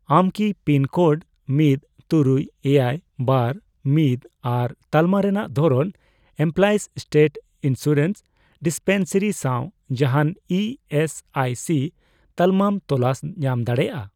ᱟᱢ ᱠᱤ pin code ᱢᱤᱫ, ᱛᱩᱨᱩᱭ, ᱮᱭᱟᱭ, ᱵᱟᱨ, ᱢᱤᱫ ᱟᱨ ᱛᱟᱞᱢᱟ ᱨᱮᱱᱟᱜ ᱫᱷᱚᱨᱚᱱ ᱮᱢᱯᱞᱚᱭᱤᱥ ᱥᱴᱮᱴ ᱤᱱᱥᱩᱨᱮᱱᱥ ᱰᱤᱥᱯᱮᱱᱥᱟᱨᱤ ᱥᱟᱶ ᱡᱟᱦᱟᱱ ᱤ ᱮᱥ ᱟᱭ ᱥᱤ ᱛᱟᱞᱢᱟᱢ ᱛᱚᱞᱟᱥ ᱧᱟᱢ ᱫᱟᱲᱮᱭᱟᱜᱼᱟ ?